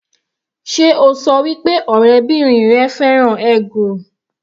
Sé o ṣọ wí pé ọ̀rẹ́bìrin rẹ fẹ́ràn eggroll?